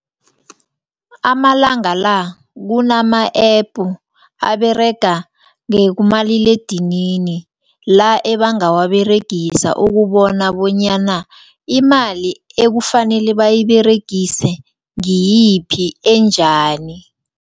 Amalanga la kunama-app aberega kumaliledinini la ebangawaberegisa ukubona bonyana imali ekufanele bayiberegise ngiyiphi enjani.